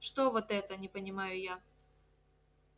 что вот это не понимаю я